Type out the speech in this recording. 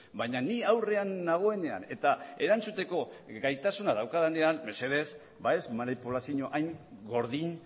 baina ni aurrean nagoenean eta erantzuteko gaitasuna daukadanean mesedez ez manipulazio hain gordin